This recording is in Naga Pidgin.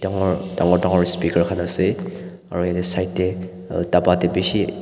dangor dangor dangor speaker khan ase aro side tae dapa tae bishi.